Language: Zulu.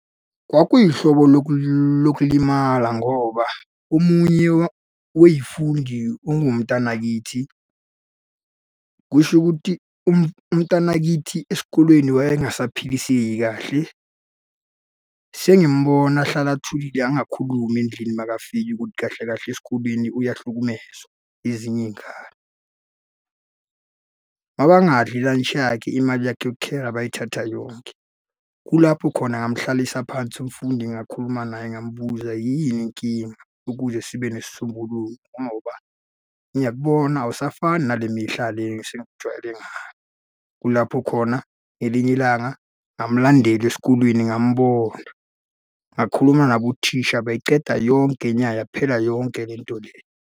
Kwakuyihlobo lokulimala ngoba omunye wey'fundi ungumntanakithi. Kusho ukuthi umntanakithi esikolweni wayengasaphiliseki kahle. Sengimubona ahlala athulile angakhulumi endlini makafika ukuthi kahle kahle esikoleni uyahlukumezwa ezinye iy'ngane. Uma bangadli ilantshi yakhe, imali yakhe yokukhera bayithatha yonke. Kulapho khona ngamuhlalisa phansi umfundi ngakhuluma naye, ngamubuza, yini inkinga, ukuze sibe nesisombululo ngoba ngiyakubona awusafani nale mihla le esengikujwayele ngayo. Kulapho khona ngelinye ilanga, ngamulandela esikolweni ngamubona, ngakhuluma nabo thisha bayiceda yonke nya yaphela yonke le nto le.